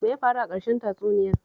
Me ya faru a ƙarshen tatsuniyar?